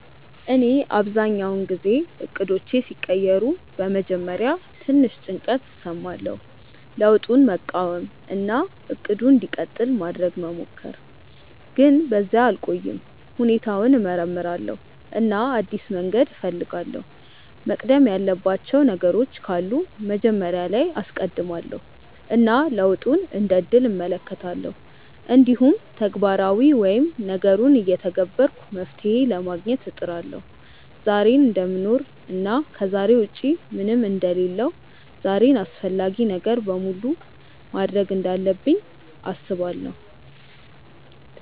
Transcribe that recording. እኔ አብዛኛውን ጊዜ እቅዶቼ ሲቀየሩ በመጀመሪያ ትንሽ ጭንቀት እሰማለሁ፣ ለውጡን መቃወም እና “እቅዱ እንዲቀጥል” ማድረግ መሞከር፣ ግን በዚያ አልቆይም። ሁኔታውን እመርምራለሁ እና አዲስ መንገድ እፈልጋለሁ፤ መቅደም ያለባቸው ነገሮች ካሉ መጀመሪያ ላይ አስቀድማለው እና ለውጡን እንደ እድል እመለከታለሁ። እንዲሁም ተግባራዊ ወይም ነገሩን እየተገበርኩ መፍትሄ ለማግኘት እጥራለሁ። ዛሬን እደምኖር እና ከዛሬ ውጪ ምንም አንደ ሌለሁ ዛሬን አፈላጊውን ነገር በሙሉ ማድርግ እንዳለብኝ አስባለው።